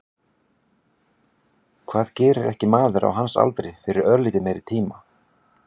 Hvað gerir ekki maður á hans aldri fyrir örlítið meiri tíma?